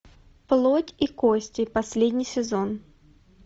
плоть и кости последний сезон